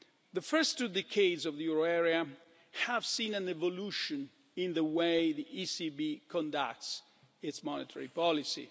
The first two decades of the euro area have seen an evolution in the way the ECB conducts its monetary policy.